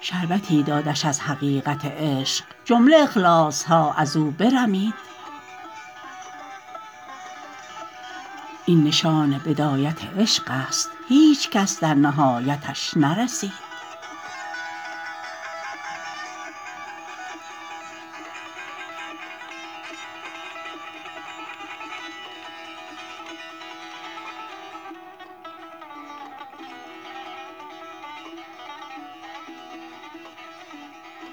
شربتی دادش از حقیقت عشق جمله اخلاص ها از او برمید این نشان بدایت عشق است هیچ کس در نهایتش نرسید